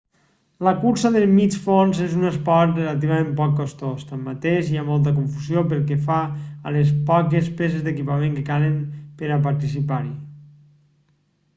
la cursa de mig fons és un esport relativament poc costós tanmateix hi ha molta confusió pel que fa a les poques peces d'equipament que calen per a participar-hi